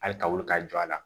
Hali ka wuli ka jɔ a la